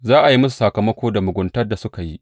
Za a yi musu sakamako da muguntar da suka yi.